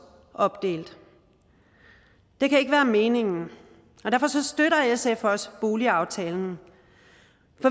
opdelt det kan ikke være meningen og derfor støtter sf også boligaftalen